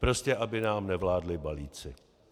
Prostě aby nám nevládli balíci.